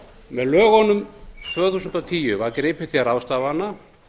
með lögunum tvö þúsund og tíu var gripið til ráðstafana